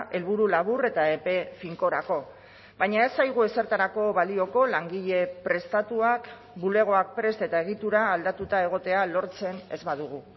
helburu labur eta epe finkorako baina ez zaigu ezertarako balioko langile prestatuak bulegoak prest eta egitura aldatuta egotea lortzen ez badugu